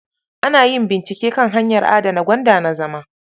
Ana yin bincike kan hanyar adana gwanda na zama.